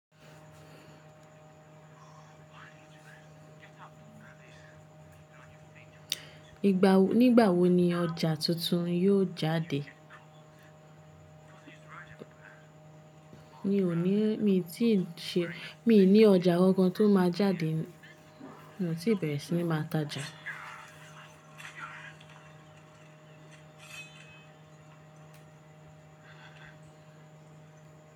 Ìgbà wo ni ọjà tuntun yóò jáde? Mi ò ní ọjà kokan tó máa jáde mo ti bẹ̀rẹ̀ sí máa ta ja.